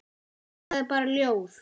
Það er bara ljóð.